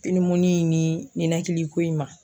Pinimuni in ni ninakiliko in ma